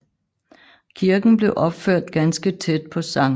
Kirken blev opført ganske tæt på Skt